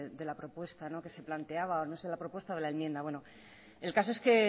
de la propuesta que se plantea o no sé la propuesta de la enmienda el caso es que